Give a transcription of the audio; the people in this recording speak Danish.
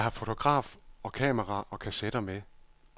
Jeg har fotograf og kamera og kassetter med.